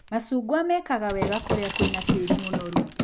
Macungwa mekaga wega kũrĩa kwĩna tĩri mũnoru.